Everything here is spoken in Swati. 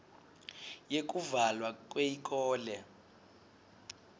yekuvalwa kweyikolo